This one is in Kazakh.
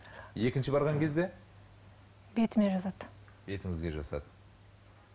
екінші барған кезде бетіме жасады бетіңізге жасады